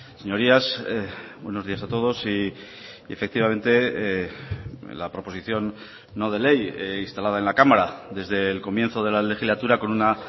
señorías buenos días a todos y efectivamente la proposición no de ley instalada en la cámara desde el comienzo de la legislatura con una